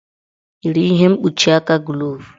Yiri ihe mkpuchi aka glovu!